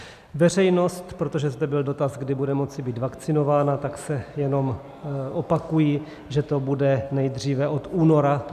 Veřejnost, protože zde byl dotaz, kdy bude moci být vakcinována, tak se jenom opakuji, že to bude nejdříve od února.